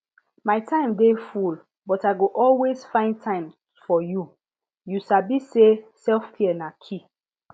my time dey full but i go always find time for you you sabi say selfcare na key